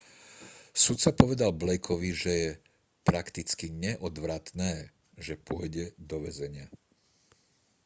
sudca povedal blakeovi že je prakticky neodvratné že pôjde do väzenia